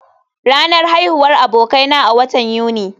Ranar haihuwar abokaina a watan Yuni ne